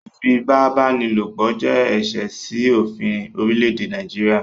Ífipabanilopo jẹ̀ ẹṣẹ̀ sí ofín orílẹ̀èdè Nàìjíríà